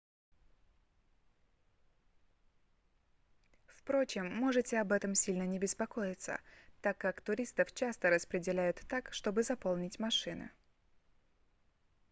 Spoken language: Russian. впрочем можете об этом сильно не беспокоиться так как туристов часто распределяют так чтобы заполнить машины